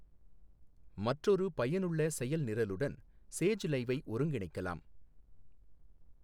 மற்றொரு பயனுள்ள செயல்நிரலுடன் சேஜ் லைவை ஒருங்கிணைக்கலாம்.